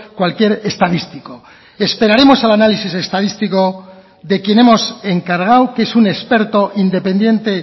cualquier estadístico esperaremos al análisis estadístico de quien hemos encargado que es un experto independiente